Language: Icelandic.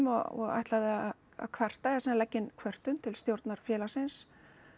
og ætlaði að kvarta eða sem sagt leggja inn kvörtun til stjórnar félagsins